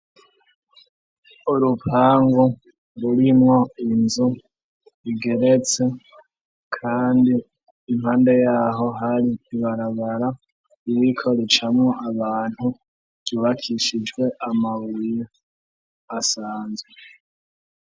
Urupangu rurimwo inzu igeretse kandi impande yaho hari ibarabara ibikoricamo abantu yubakishijwe amaburi asanzwe.